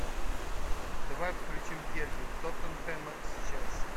давай включим дерби тоттенхэма с челси